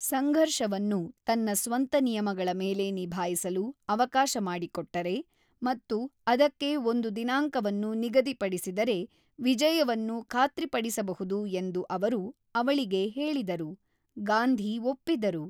ಸಂಘರ್ಷವನ್ನು ತನ್ನ ಸ್ವಂತ ನಿಯಮಗಳ ಮೇಲೆ ನಿಭಾಯಿಸಲು ಅವಕಾಶ ಮಾಡಿಕೊಟ್ಟರೆ ಮತ್ತು ಅದಕ್ಕೆ ಒಂದು ದಿನಾಂಕವನ್ನು ನಿಗದಿಪಡಿಸಿದರೆ ವಿಜಯವನ್ನು ಖಾತ್ರಿಪಡಿಸಬಹುದು ಎಂದು ಅವರು ಅವಳಿಗೆ ಹೇಳಿದರು; ಗಾಂಧಿ ಒಪ್ಪಿದರು.